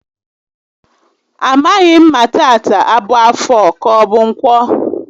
A maghị m ma tata a bụ Afọ ka ọbụ Ǹkwọ